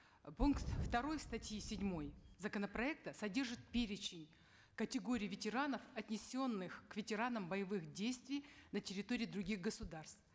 э пункт второй статьи седьмой законопроекта содержит перечень категорий ветеранов отнесенных к ветеранам боевых действий на территории других государств